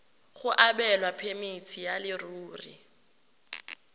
go abelwa phemiti ya leruri